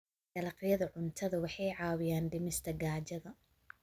Dalagyada cuntadu waxay caawiyaan dhimista gaajada.